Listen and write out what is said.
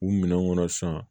U minɛn kɔnɔ san